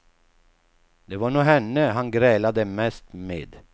Det var nog henne hon grälade mest med.